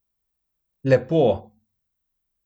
Lepo!